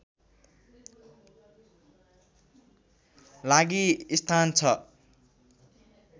लागि स्थान छ